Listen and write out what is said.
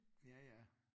Ja ja